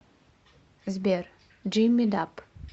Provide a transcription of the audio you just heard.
сбер джимми даб